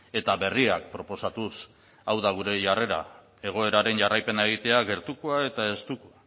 eta berriak proposatuz hau da gure jarrera egoeraren jarraipena egitea gertukoa eta estua